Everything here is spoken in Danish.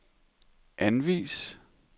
anvis